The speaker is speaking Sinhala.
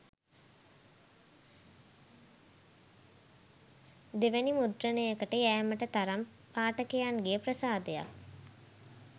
දෙවැනි මුද්‍රණයකට යෑමට තරම් පාඨකයන්ගේ ප්‍රසාදයක්